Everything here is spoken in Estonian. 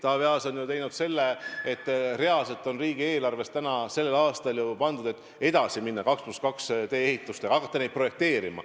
Taavi Aas on teinud seda, et reaalselt on riigieelarvest sellel aastal ju pandud, et edasi minna 2 + 2 teede ehitustega, et hakata neid projekteerima.